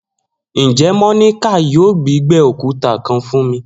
Njẹ Monica yoo gbígbẹ okuta kan fun mi?